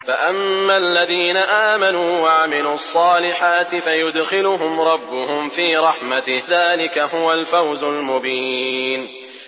فَأَمَّا الَّذِينَ آمَنُوا وَعَمِلُوا الصَّالِحَاتِ فَيُدْخِلُهُمْ رَبُّهُمْ فِي رَحْمَتِهِ ۚ ذَٰلِكَ هُوَ الْفَوْزُ الْمُبِينُ